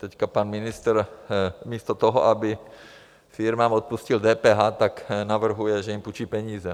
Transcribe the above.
Teď pan ministr místo toho, aby firmám odpustil DPH, tak navrhuje, že jim půjčí peníze.